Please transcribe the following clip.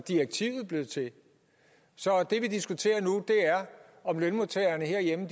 direktivet blev til så det vi diskuterer nu er om lønmodtagerne herhjemme